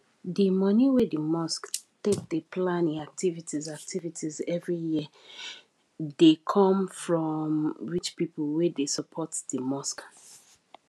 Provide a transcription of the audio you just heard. di money wey di mosque take dey plan e activities activities every year dey com from rich pipo wey dey support di mosque